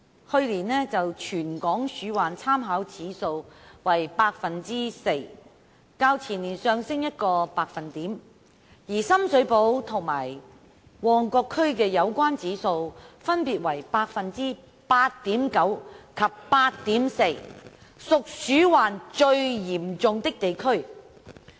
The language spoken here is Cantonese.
去年全港鼠患參考指數為百分之四，較前年上升一個百分點，而深水埗區及旺角區的有關指數分別為百分之 8.9 及 8.4， 屬鼠患最嚴重的地區。